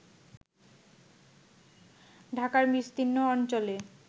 ঢাকার বিস্তীর্ণ অঞ্চলে